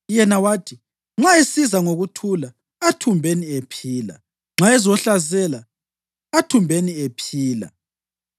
Yena wathi, “Nxa esiza ngokuthula, athumbeni ephila; nxa ezohlasela, athumbeni ephila.”